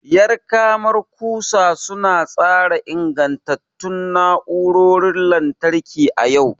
Yar karamar kusa su na tsara ingantattun na'urorin lantarki a yau.